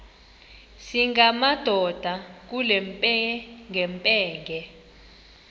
singamadoda kule mpengempenge